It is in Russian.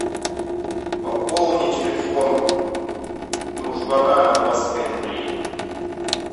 пополни телефон дружбана на двадцать пять рублей